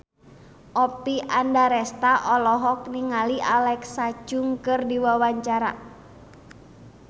Oppie Andaresta olohok ningali Alexa Chung keur diwawancara